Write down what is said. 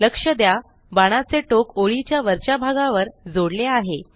लक्ष द्या बाणाचे टोक ओळीच्या वरच्या भागावर जोडले आहे